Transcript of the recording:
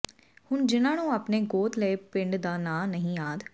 ਹੁਣ ਜਿਨ੍ਹਾਂ ਨੂੰ ਆਪਣੇ ਗੋਦ ਲਏ ਪਿੰਡ ਦਾ ਨਾਂ ਨਹੀਂ ਯਾਦ